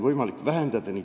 Aitäh!